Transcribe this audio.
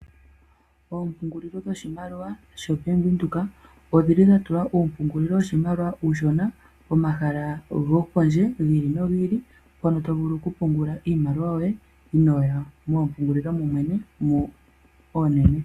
Oompungulilo dhoshinaliwa shaBank Windhoek odhi li dha tula uupungulilo uushona pomahala gopondje gi ili nogi ili mpono to vulu okupungulila iimaliwa yoye inoo ya moompungulilo oonene.